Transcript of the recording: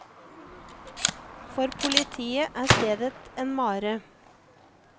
For politiet er stedet en mare.